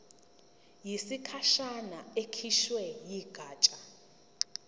yesikhashana ekhishwe yigatsha